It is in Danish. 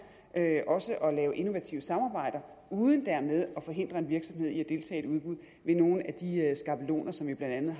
også at lave innovative samarbejder uden dermed at forhindre en virksomhed i at deltage i et udbud ved nogen af de skabeloner som vi blandt